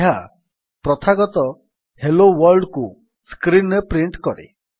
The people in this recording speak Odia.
ଏହା ପ୍ରଥାଗତ ହେଲୋ Worldକୁ ସ୍କ୍ରୀନ୍ ରେ ପ୍ରିଣ୍ଟ୍ କରେ